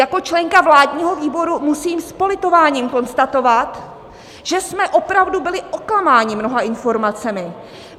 Jako členka vládního výboru musím s politováním konstatovat, že jsme opravdu byli oklamáni mnoha informacemi.